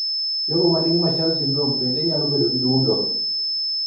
Jogo manigi Marshall syndrome bende nyalo bedo gi dundo